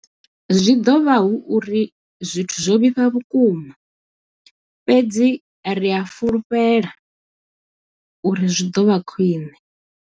Zwi ḓo vha hu uri zwithu zwo vhifha vhukuma, fhedzi ri a fhulufhela uri zwi ḓo vha khwiṋe.